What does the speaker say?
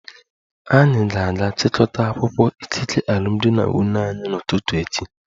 Anyị ga-aga chịkọta akwụkwọ ikike alụmdi na nwunye anyị n'ụtụtụ echi